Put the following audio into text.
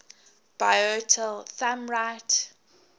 bitola thumb right